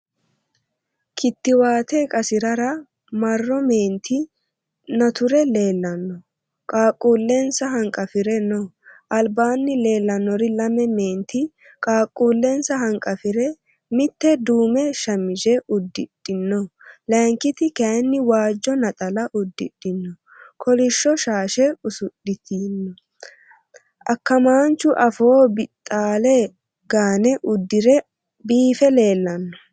Kittiwaate qasiisirara marro meenti nature leellanno. Qaaqquullensa hanqafire no. Albaanni leellannori lame meenti qaaqquullensa hanqafire mitte duume shamise uddidhino layinkiti kayinni waajjo naxala uddidhino kolishsho shaashe usudhiti o. akkamaanchu afoo bixaalle gaane uddire biife leellanno.